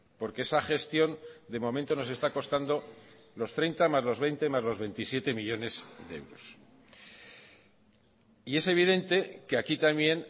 porque esa gestión de momento nos está costando los treinta más los veinte más los veintisiete millónes de euros y es evidente que aquí también